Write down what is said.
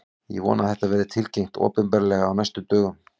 Ég vona að þetta verði tilkynnt opinberlega á næstu dögum.